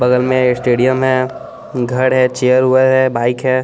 बगल में स्टेडियम है घर है चेयर ओवर है बाइक है।